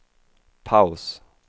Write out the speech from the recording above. paus